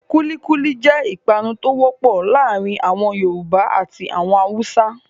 Kulíkúlí jẹ́ ìpanu tó wọ́pọ̀ láàárin àwọn Yorùbá àti àwọn Haúsá.